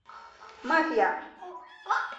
мафия